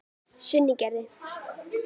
Sunnugerði